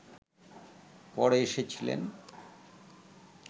পরে এসেছিলেন